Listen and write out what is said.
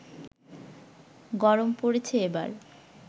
গরম পড়েছে এবার